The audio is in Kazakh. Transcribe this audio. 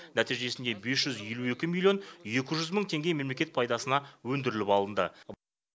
нәтижесінде бес жүз елу екі миллион екі жүз мың теңге мемлекет пайдасына өндіріліп алынды